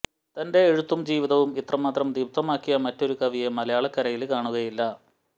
തന്റെ എഴുത്തും ജീവിതവും ഇത്രമാത്രം ദീപ്തമാക്കിയ മറ്റൊരു കവിയെ മലയാളക്കരയില് കാണുകയില്ല